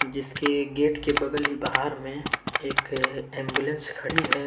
जिसके गेट के बगल बाहर में एक एंबुलेंस खड़ी है।